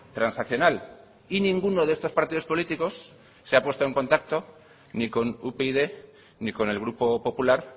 transaccional y ninguno de estos partidos políticos se ha puesto en contacto ni con upyd ni con el grupo popular